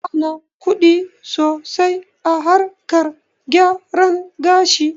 Ana kuɗi sosai a harkar gyaran gashi